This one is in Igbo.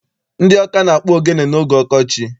Ndị Ọka ga-akpụ ogene n'oge ọkọchị.